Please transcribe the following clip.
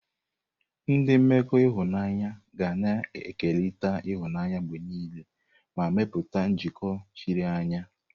Ndị mmekọ ịhụnanya ga na-ekerịta ịhụnanya mgbe niile ma mepụta njikọ chiri anya.